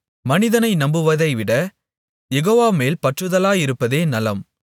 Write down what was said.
மனிதனை நம்புவதைவிட யெகோவா மேல் பற்றுதலாயிருப்பதே நலம்